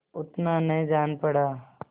उतना न जान पड़ा